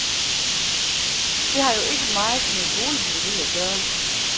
Det har jo ikke meget med boligbyggeri at gøre.